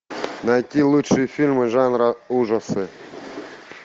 найти лучшие фильмы жанра ужасы